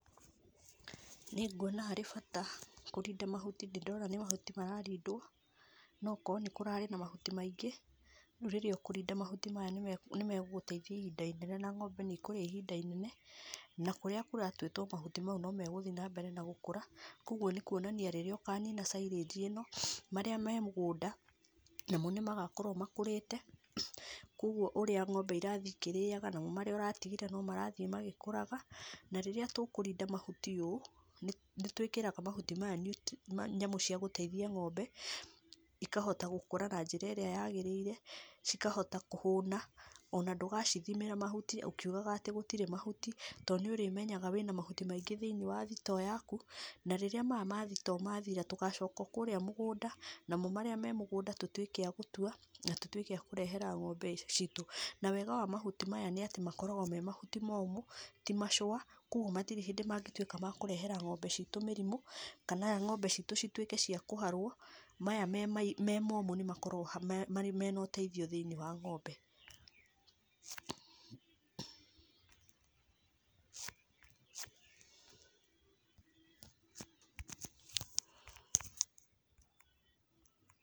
Nĩ ngwona harĩ bata kũrinda mahuti, nĩ ndĩrona nĩ mahuti mararindwo, no akorwo kũrarĩ na mahuti maingĩ, rĩu rĩrĩa ũkũrinda mahuti maya nĩ magũgũteithia ihinda inene na ng'ombe nĩ ikũrĩa ihinda inene na kũrĩa kũratuĩtwo mahuti mau nĩ megũthiĩ na mbere na gũkũra kwoguo nĩ kwonania rĩrĩa ũkanina syringe ĩno, marĩa me mũgũnda mamo nĩ magakorwo makũrĩte kwogũo ũrĩa ng'ombe irathiĩ ikĩrĩaga namo marĩa ũratigĩte nĩ marathiĩ magĩkũraga na rĩrĩa tũkũrinda mahuti ũũ nĩ twĩkĩraga mahuti maya nyamũ cia gũteithia ng'ombe, ikahota gũkũra na njĩra ĩrĩa yagĩrĩire cikahota kũhũna na ndũgacithĩmĩra mahuti ũkiugaga atĩ gũtirĩ mahuti, tondũ nĩ ũrĩmenyaga wĩna mahuti maingĩ thĩinĩ wa thitoo yaku na rĩrĩa maya ma thitoo mathira tũgacoka o kũrĩa mũgũnda namo marĩa me mũgũnda tũtuĩke a gũtua na tũrehe ng'ombe citũ, na wega wa mahuti maya nĩ atĩ makoragwo me mahuti momũ ti machũa kwogũo gũtirĩ hĩndĩ mangĩtuĩka ma kũrehera ng'ombe citũ mĩrimũ kana ng'ombe citũ cituĩke cia kũharwo, maya me momũ nĩ makoragwo mena ũteithio thĩinĩ wa ng'ombe.